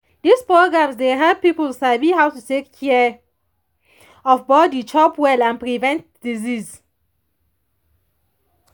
these programs dey help people sabi how to take care of body chop well and prevent disease